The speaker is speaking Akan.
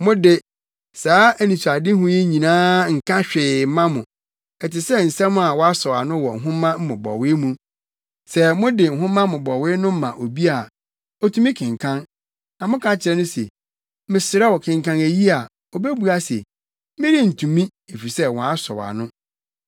Mo de, saa anisoadehu yi nyinaa nka hwee mma mo, ɛte sɛ nsɛm a wɔasɔw ano wɔ nhoma mmobɔwee mu. Sɛ mode nhoma mmobɔwee no ma obi a, otumi kenkan, na moka kyerɛ no se, “Mesrɛ wo kenkan eyi” a, obebua se, “Merentumi, efisɛ wɔasɔw ano.”